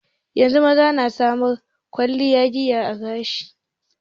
Yanzu maza na sana'ar kwalliya da gyaran gashi.